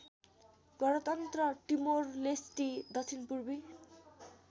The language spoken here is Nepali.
गणतन्त्र टिमोरलेस्टी दक्षिणपूर्वी